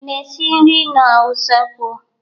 I na-esi nri n'usekwu?